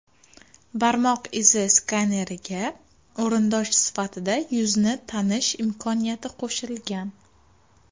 Barmoq izi skaneriga o‘rindosh sifatida yuzni tanish imkoniyati qo‘shilgan.